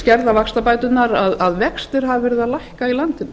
skerða vaxtabæturnar að vextir hafa verið að lækka í landinu